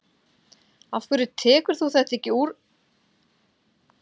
Af hverju tekur þú þetta ekki að þér úr því að þú ert svona spennt?